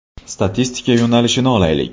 Statistika yo‘nalishini olaylik.